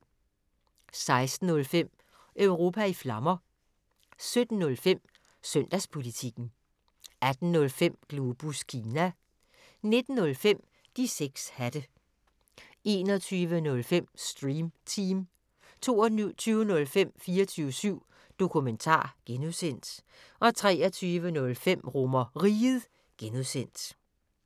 16:05: Europa i Flammer 17:05: Søndagspolitikken 18:05: Globus Kina 19:05: De 6 hatte 21:05: Stream Team 22:05: 24syv Dokumentar (G) 23:05: RomerRiget (G)